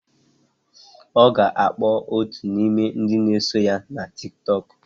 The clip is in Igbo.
Ọ ga-akpọ otu n'ime ndị na-eso ya na Tiktok.